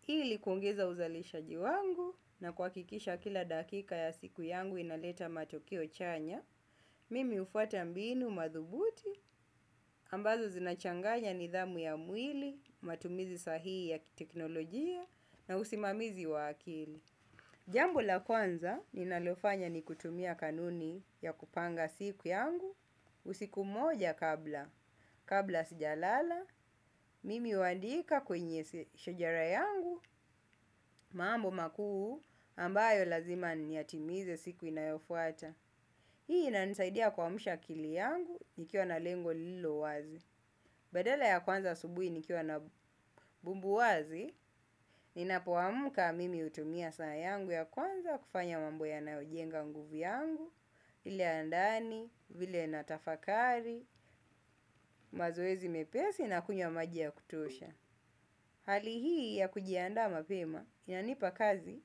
Hili kuongeza uzalishaji wangu na kuhakikisha kila dakika ya siku yangu inaleta matokeo chanya, mimi hufuata mbinu madhubuti ambazo zinachanganya nidhamu ya mwili, matumizi sahihi ya kiteknolojia na usimamizi wa akili. Jambo la kwanza ninalofanya ni kutumia kanuni ya kupanga siku yangu, usiku moja kabla, kabla sijalala, mimi huandika kwenye shojara yangu, mambo makuu ambayo lazima niyatimize siku inayofuata. Hii inanisaidia kuamsha akili yangu nikiwa na lengo lililo wazi. Badala ya kuanza asubuhi nikiwa na bumbuazi, ninapoamka mimi hutumia saa yangu ya kwanza kufanya mambo yanayojenga nguvu yangu, ile ya ndani, vile natafakari, mazoezi mepesi na kunywa maji ya kutosha. Hali hii ya kujiandaa mapema inanipa kazi,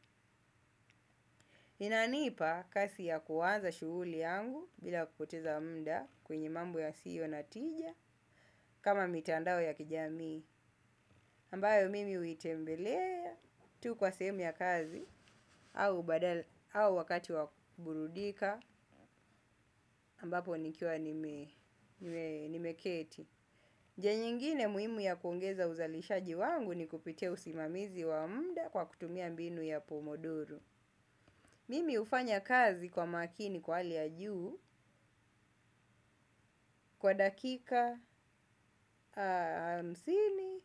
inanipa kasi ya kuanza shughuli yangu bila kupoteza mda kwenye mambo yasiyo na tija kama mitandao ya kijamii, ambayo mimi huitembelea tu kwa sehemu ya kazi au wakati wakuburudika ambapo nikiwa nimeketi. Njia nyingine muhimu ya kuongeza uzalishaji wangu ni kupite usimamizi wa muda kwa kutumia mbinu ya pomodoro. Mimi hufanya kazi kwa makini kwa hali ya juu kwa dakika hamsini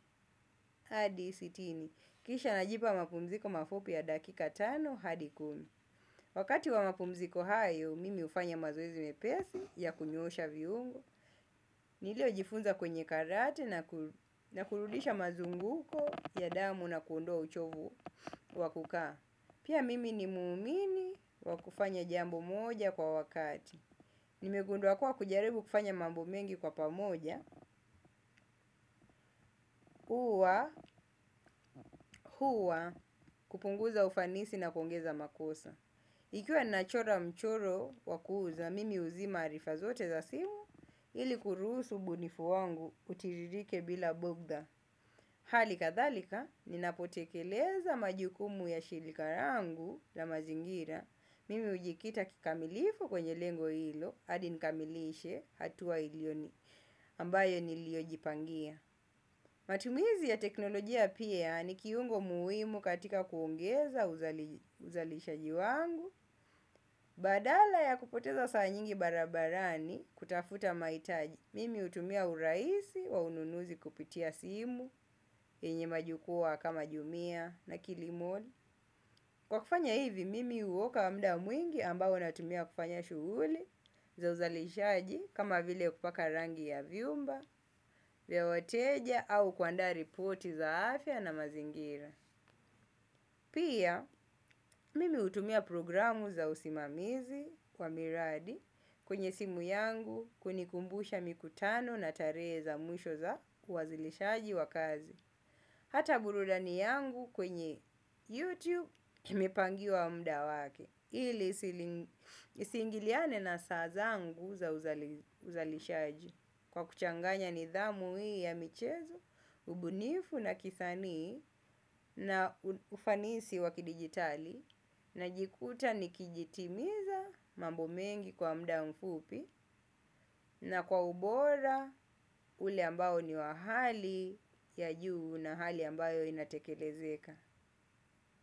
hadi sitini. Kisha najipa mapumziko mafupi ya dakika tano hadi kumi. Wakati wa mapumziko hayo, mimi hufanya mazoezi mepesi ya kunyoosha viungo. Niliojifunza kwenye karate na kurudisha mazunguko ya damu na kuondoa uchovu wa kukaa. Pia mimi ni muumini wa kufanya jambo moja kwa wakati. Nimegundua kuwa kujaribu kufanya mambo mengi kwa pamoja huwa, kupunguza ufanisi na kuongeza makosa. Ikiwa ninachora mchoro wa kuuza, mimi huzima arifa zote za simu. Ili kuruhusu ubunifu wangu utiririke bila bugdha. Hali kadhalika, ninapotekeleza majukumu ya shirika langu na mazingira, mimi hujikita kikamilifu kwenye lengo hilo, hadi nikamilishe hatua ilioni, ambayo niliojipangia. Matumizi ya teknolojia pia ni kiungo muhimu katika kuongeza uzalishaji wangu, badala ya kupoteza saa nyingi barabarani kutafuta mahitaji. Mimi hutumia urahisi wa ununuzi kupitia simu yenye majukwaa kama jumia na kilimoli. Kwa kufanya hivi, mimi huokoa muda mwingi ambao natumia kufanya shughuli za uzalishaji kama vile kupaka rangi ya vyumba, vya wateja au kuandaa ripoti za afya na mazingira. Pia, mimi hutumia programu za usimamizi kwa miradi kwenye simu yangu kunikumbusha mikutano na tarehe za mwisho za uwasilishaji wa kazi. Hata burudani yangu kwenye YouTube imepangiwa muda wake. Ili isiingiliane na saa zangu za uzalishaji. Kwa kuchanganya nidhamu hii ya michezo, ubunifu na kisanii na ufanisi wa kidijitali najikuta nikijitimiza mambo mengi kwa muda mfupi na kwa ubora ule ambao ni wa hali ya juu na hali ambayo inatekelezeka.